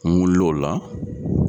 N wulilo' la.